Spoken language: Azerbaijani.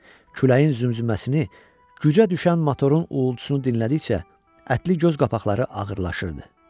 Küləyin zümzüməsini, gücə düşən motorun uğultusunu dinlədikcə ətli göz qapaqları ağırlaşırdı.